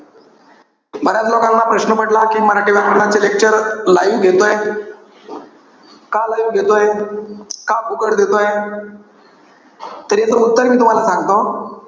बऱ्याच लोकांना प्रश्न पडला कि मराठी व्याकरणाचे lecture live घेतोय. का live घेतोय? का फुकट देतोय? तर याच उत्तर मी तुम्हाला सांगतो.